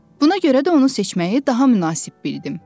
Buna görə də onu seçməyi daha münasib bildim.